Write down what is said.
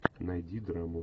найди драму